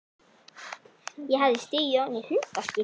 Ég hafði stigið ofan í hundaskít.